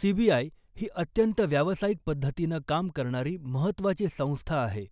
CBI ही अत्यंत व्यावसायिक पद्धतीनं काम करणारी महत्त्वाची संस्था आहे ,